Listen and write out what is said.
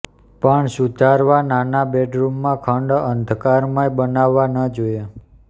પણ સુધારવા નાના બેડરૂમમાં ખંડ અંધકારમય બનાવવા ન જોઈએ